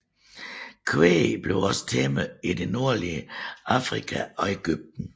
Kvæg blev også tæmmet i det nordlige Afrika og Egypten